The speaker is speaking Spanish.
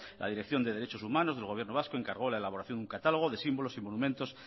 la dirección de derechos humanos del gobierno vasco encargó la elaboración de un catálogo de símbolos y monumentos